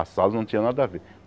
A Salos não tinha nada a ver.